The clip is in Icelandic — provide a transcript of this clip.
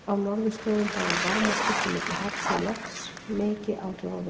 Á norðurslóðum hafa varmaskipti milli hafs og lofts mikil áhrif á veðurfar.